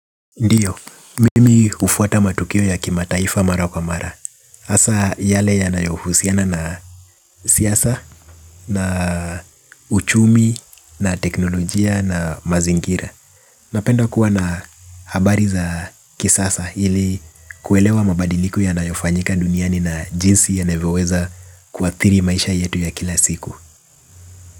Ndiyo, mimi ufuata matukio ya kimataifa mara kwa mara hasa yale ya nayohusiana na siyasa, na uchumi, na teknolojia, na mazingira. Napenda kuwa na habari za kisasa ili kuelewa mabadiliku ya nayofanyika duniani na jinsi yanavyoweza kuathiri maisha yetu ya kila siku.